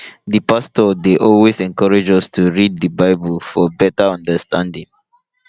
di pastor dey always encourage us to read di bible for better understanding